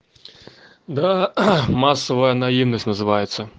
да массовая наивность называется